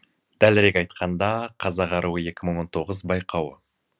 дәлірек айтқанда қазақ аруы екі мың он тоғыз байқауы